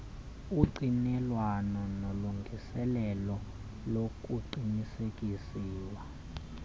ungqinelwano nolungiselelo lokuqinisekiswa